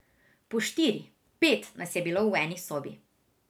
Po štiri, pet nas je bilo v eni sobi.